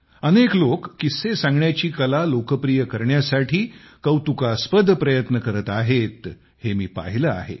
अनेक लोक किस्से सांगण्याची कला लोकप्रिय करण्यासाठी कौतुकास्पद प्रयत्न करत आहे हे मी पाहिले आहे